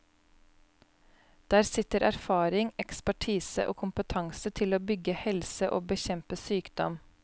Der sitter erfaring, ekspertise og kompetanse til å bygge helse og bekjempe sykdom.